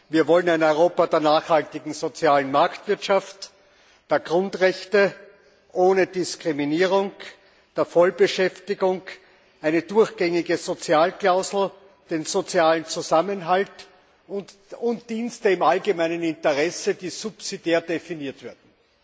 Wir wollen ein Europa der nachhaltigen sozialen Marktwirtschaft, der Grundrechte, ohne Diskriminierung, der Vollbeschäftigung, eine durchgängige Sozialklausel, den sozialen Zusammenhalt und Dienste im allgemeinen Interesse, die subsidiär definiert werden.